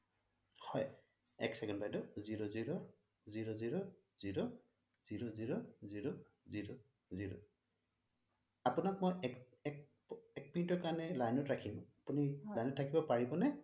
এক ছেকেণ্ড বাইদেউ zero zero zero zero zero zero zero zero zero zero আপোনাক মই এক মিনিটৰ কাৰণে line ত ৰাখিম আপুনি লাইন অত থাকিব পাৰিব নে